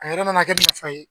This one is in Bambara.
A yɛrɛ mana kɛ nafa ye.